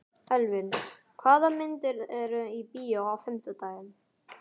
Elvin, hvaða myndir eru í bíó á fimmtudaginn?